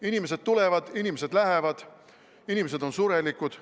Inimesed tulevad, inimesed lähevad, inimesed on surelikud.